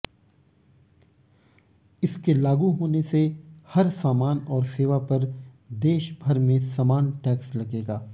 इसके लागू होने से हर सामान और सेवा पर देशभर में समान टैक्स लगेगा